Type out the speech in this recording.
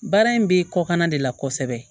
Baara in bɛ kɔkan na de la kosɛbɛ